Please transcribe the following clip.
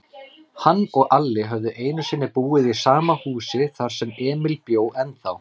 Hann og Alli höfðu einusinni búið í sama húsi, þar sem Emil bjó ennþá.